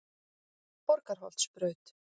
Borgarholtsbraut